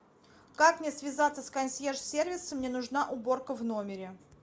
как мне связаться с консьерж сервисом мне нужна уборка в номере